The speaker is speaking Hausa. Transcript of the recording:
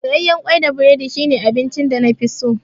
Soyayyen kwai da burodi su ne abincin da nafi so